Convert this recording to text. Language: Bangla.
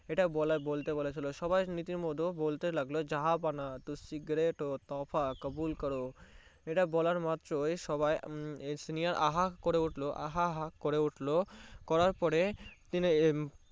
ইটা বলা ইটা বটে বলেছিলো সবাই রির মতো বলতে লাগলো জাহাপনা টুসি Great হো তোফা কাবুল করোও ইটা বলার মাত্রোই সবাই আঃ আঃ করে উঠলো আহা আহা করে উঠলো করার পরে তিনি